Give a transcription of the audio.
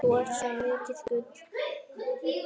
Þú ert svo mikið gull.